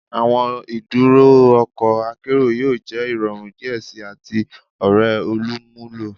Awọn iduro ọkọ akero yoo jẹ irọrun diẹ sii ati ore olumulo